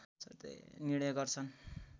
निर्णय गर्छन्